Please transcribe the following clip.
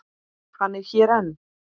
Hann er hér enn.